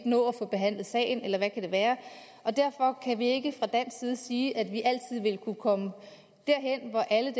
nå at få behandlet sagen eller hvad kan være derfor kan vi ikke fra dansk side sige at vi vil kunne komme derhen hvor alle